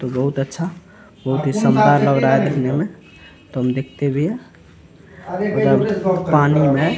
तो बहुत अच्छा बहुत ही शानदार लग रहा है देखने में तो हम देखते हुए एकदम पानी मे --